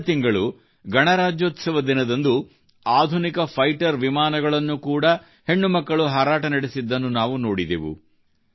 ಕಳೆದ ತಿಂಗಳು ಗಣರಾಜ್ಯೋತ್ಸವ ದಿನದಂದು ಆಧುನಿಕ ಫೈಟರ್ ವಿಮಾನಗಳನ್ನು ಕೂಡಾ ಹೆಣ್ಣುಮಕ್ಕಳು ಹಾರಾಟ ನಡೆಸಿದ್ದನ್ನು ನಾವು ನೋಡಿದೆವು